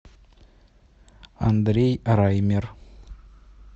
андрей раймер